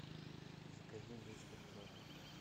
закажи мистер пропер